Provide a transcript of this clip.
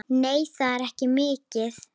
Nei, það er ekki mikið.